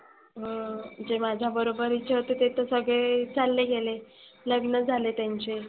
अं जे माझ्या बरोबरीचे होते ते तर सगळे चालले गेले. लग्न झाले त्यांचे.